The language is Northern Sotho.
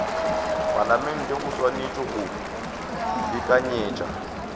palamente o swanetše go beakanyetša